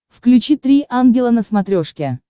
включи три ангела на смотрешке